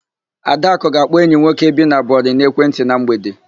Adakụ ga-akpọ enyi nwoke bi na Bori n'ekwentị na mgbede.